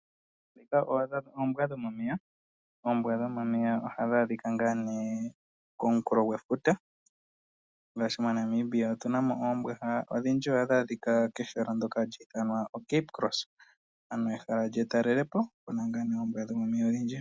Dhika oombwa dhomomeya, oombwa dhomomeya ohadhi adhika nga ne komunkulo gwefuta ngashi moNamibia otuna mo oombwa, odhindji ohadhi adhika kehala lyoka hali ithanwa Cape cross ano ehala lyetalelepo kuna nga ne oombwa dhomomeya odhindji.